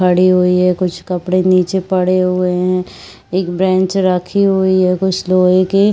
खड़ी हुई है कुछ कपड़े निचे पड़े हुए है एक बेंच रखी हुई है कुछ लोहे की--